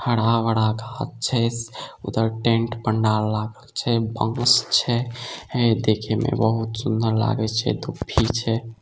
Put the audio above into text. हरा-भरा गाछ छै उधर टैंट पंडाल लागल छै बांस छै देखे मे बहुत सुंदर लागे छै दुभी छै।